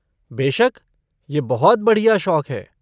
बेशक, यह बहुत बढ़िया शौक है।